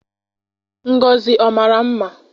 Ngozi ọ mara mma?